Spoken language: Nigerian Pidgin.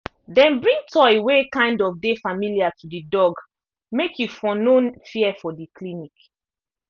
them bring toy wey kind of dey familiar to the dog make e for no fear for the clinic